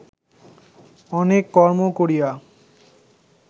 অনেক কর্ম করিয়া